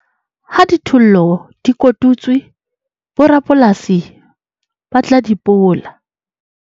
ha dithollo di kotutswe borapolasi ba tla di pola